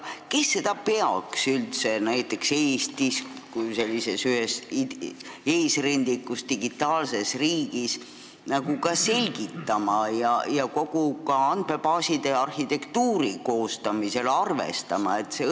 Kes peaks seda Eestis kui ühes eesrindlikus digiriigis lähemalt selgitama ja kuidas saaks seda andmebaaside arhitektuuri koostamisel arvestada?